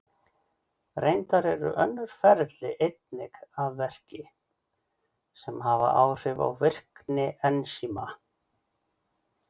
Reyndar eru önnur ferli einnig að verki sem hafa áhrif á virkni ensíma.